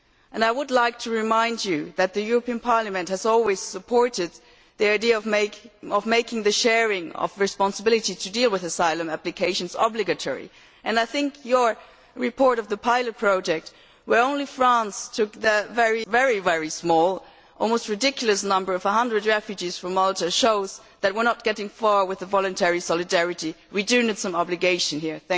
I would like to remind you that Parliament has always supported the idea of making the sharing of responsibility to deal with asylum applications obligatory, and I think your report of the pilot project where only France took a very, very small, almost ridiculous, number of 100 refugees from Malta shows that we are not getting far with the voluntary solidarity. We need some obligation here.